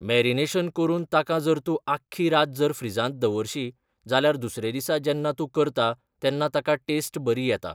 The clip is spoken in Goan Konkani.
मॅरिनेशन करून ताका जर तूं आख्खी रात जर फ्रिजांत दवरशी, जाल्यार दुसरे दिसा जेन्ना तूं करता, तेन्ना ताका टॅस्ट बरी येता.